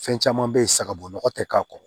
Fɛn caman bɛ yen sagabugu nɔgɔ tɛ k'a kɔrɔ